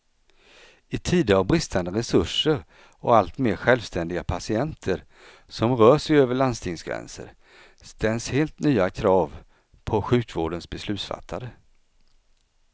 I tider av bristande resurser och allt mer självständiga patienter som rör sig över landstingsgränser, ställs helt nya krav på sjukvårdens beslutsfattare.